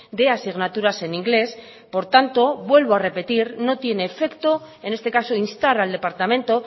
de asignaturas en inglés por tanto vuelvo a repetir no tiene efecto en este caso instar al departamento